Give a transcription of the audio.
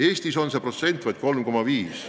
Eestis on see protsent vaid 3,5.